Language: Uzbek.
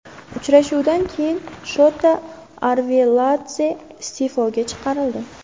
Uchrashuvdan keyin Shota Arveladze iste’foga chiqarildi.